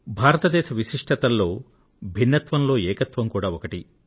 భారతదేశం విశిష్టతల్లో భిన్నత్వంలో ఏకత్వం కూడా ఒకటి